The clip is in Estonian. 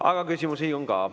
Aga küsimusi on ka.